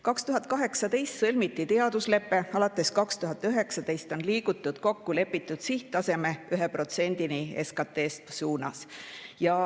2018. aastal sõlmiti teaduslepe ja alates 2019. aastast on liigutud kokkulepitud sihttaseme – 1% SKT-st – suunas.